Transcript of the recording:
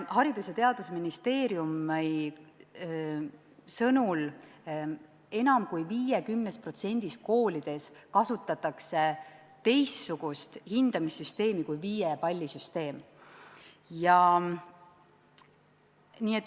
Haridus- ja Teadusministeeriumi sõnul kasutatakse enam kui 50%-s koolidest teistsugust hindamissüsteemi kui viiepallisüsteem.